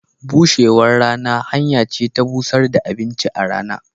Bushewan rana hanya ce ta bushar da abinci a rana.